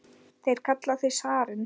Þeir kalla þig zarinn!